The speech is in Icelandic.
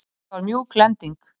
Þetta var mjúk lending.